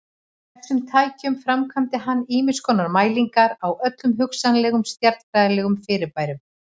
Með þessum tækjum framkvæmdi hann ýmiskonar mælingar á öllum hugsanlegum stjarnfræðilegum fyrirbærum.